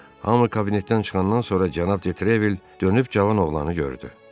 Hamı kabinetdən çıxandan sonra cənab Detrevel dönüb cavan oğlanı gördü.